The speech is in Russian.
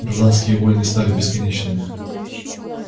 гражданские войны стали бесконечными